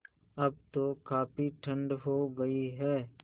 अब तो काफ़ी ठण्ड हो गयी है